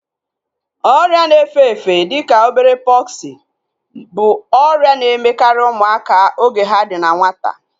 Ọrịa na efe-efe dịka obere pọksi bụ ọrịa na-emekarị ụmụaka oge ha dị na nwata